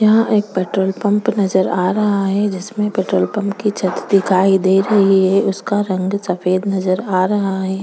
यहाँ एक petrol pump नज़र आ रहा है जिसमें पेट्रोल पंप की छत दिखाई दे रही है उसका रंग सफेद नज़र आ रहा है।